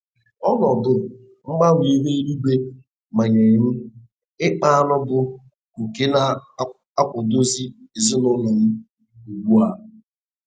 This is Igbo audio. Ọnọdụ mgbanwe ihu eluigwe manyee m ịkpa añụ bụ nke na-akwadozi ezina ụlọ m ugbu a.